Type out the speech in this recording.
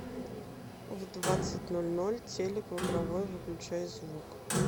в двадцать ноль ноль телек в игровой выключай звук